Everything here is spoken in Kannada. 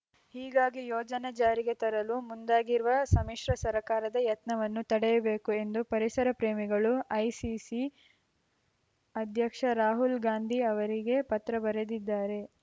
ಹೀಗಾಗಿ ಯೋಜನೆ ಜಾರಿಗೆ ತರಲು ಮುಂದಾಗಿರುವ ಸಮ್ಮಿಶ್ರ ಸರ್ಕಾರದ ಯತ್ನವನ್ನು ತಡೆಯಬೇಕು ಎಂದು ಪರಿಸರ ಪ್ರೇಮಿಗಳು ಎಐಸಿಸಿ ಅಧ್ಯಕ್ಷ ರಾಹುಲ್‌ ಗಾಂಧಿ ಅವರಿಗೆ ಪತ್ರ ಬರೆದಿದ್ದಾರೆ